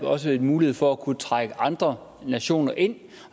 også mulighed for at kunne trække andre nationer ind